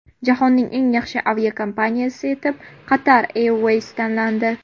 Jahonning eng yaxshi aviakompaniyasi etib esa Qatar Airways tanlandi.